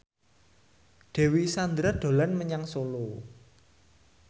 Dewi Sandra dolan menyang Solo